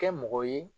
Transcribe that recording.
Kɛ mɔgɔ ye